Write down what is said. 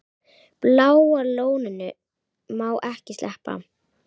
Bláa lóninu má ekki sleppa.